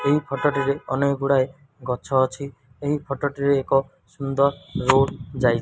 ଏହି ଫଟ ଟିରେ ଅନେକ ଗୁଡ଼ାଏ ଗଛ ଅଛି। ଏହି ଫଟ ଟିରେ ଏକ ସୁନ୍ଦର ରୋଡ୍ ଯାଇ --